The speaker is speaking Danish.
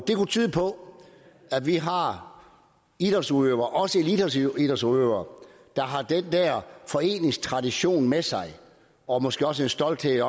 det kunne tyde på at vi har idrætsudøvere også eliteidrætsudøvere der har den der foreningstradition med sig og måske også en stolthed